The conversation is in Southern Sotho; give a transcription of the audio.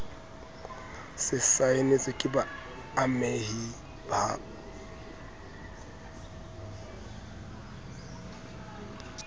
se saenetswe ke baamehi ba